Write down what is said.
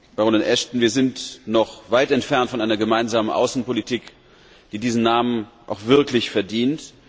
Baronin Ashton, wir sind noch weit entfernt von einer gemeinsamen Außenpolitik, die diesen Namen auch wirklich verdient.